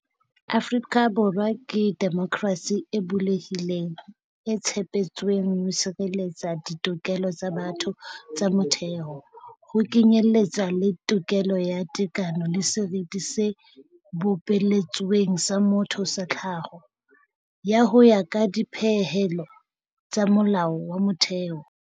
Afrika Borwa ke demokrasi e bulehileng, e tshepetsweng ho sireletsa ditokelo tsa batho tsa motheo, ho kenyeletswa le tokelo ya tekano le seriti se bopeletsweng sa motho sa tlhaho, ho ya ka dipehelo tsa Molao wa Motheo.